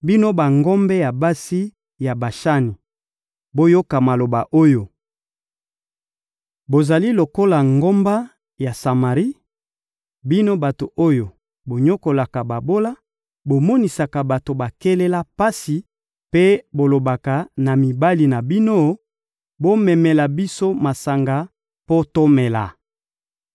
Bino bangombe ya basi ya Bashani, boyoka maloba oyo; bozali lokola ngomba ya Samari, bino bato oyo bonyokolaka babola, bomonisaka bato bakelela pasi mpe bolobaka na mibali na bino: «Bomemela biso masanga mpo tomela.»